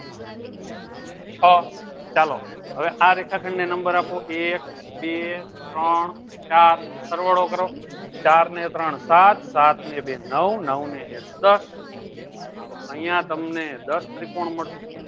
છ ચાલો હવે આ રેખાખંડને number આપો એક બે ત્રણ ચાર સરવાળો કરો ચાર ને ત્રણ સાત સાત ને બે નવ નવ ને એક દસ તો અહીંયા તમને દસ ત્રિકોણ મળશે.